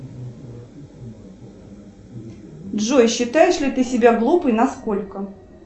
джой считаешь ли ты себя глупой на сколько